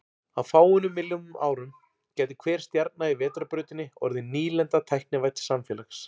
Á fáeinum milljónum árum gæti hver stjarna í Vetrarbrautinni orðið nýlenda tæknivædds samfélags.